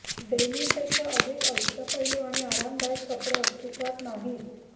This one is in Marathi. डेनिमपेक्षा अधिक अष्टपैलू आणि आरामदायक कपडे अस्तित्वात नाहीत